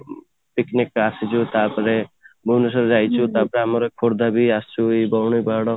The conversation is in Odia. picnic ଆସିଛୁ ତାପରେ ଭୁବନେଶ୍ୱର ଯାଇଛୁ ତାପରେ ଆମର ଖୋର୍ଦ୍ଧା ଯାଏଁ ଆସିଛୁ ଏଇ ଧଉଳି ପାହାଡ